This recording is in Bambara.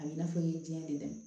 A b'i n'a fɔ i ye diɲɛ de dɛ